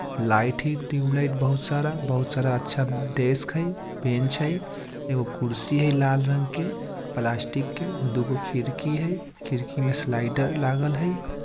लाइट ही ट्यूबलाइट बहुत सारा बहुत सारा अच्छा डेस्क हई बेन्च हई एगो कुर्सी हई लाल रंग के प्लास्टिक के दू गो खिड़की हई खिड़की में स्लाइडर लागल हई।